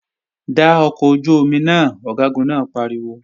Da ọkọ̀ ojú-omi náà! Ọ̀gágun náà pariwo